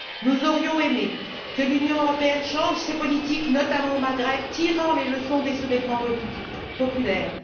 Nous aurions aimé que l'Union européenne change ses politiques, notamment au Maghreb, tirant les leçons des soulèvements populaires.